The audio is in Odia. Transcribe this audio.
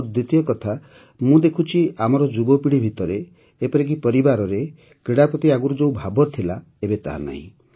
ଆଉ ଦ୍ୱିତୀୟ କଥା ମୁଁ ଦେଖୁଛି ଯେ ଆମର ଯୁବପିଢ଼ି ଭିତରେ ଏପରିକି ପରିବାରରେ ମଧ୍ୟ କ୍ରୀଡ଼ା ପ୍ରତି ଆଗରୁ ଯେଉଁ ଭାବ ଥିଲା ଏବେ ତାହା ନାହିଁ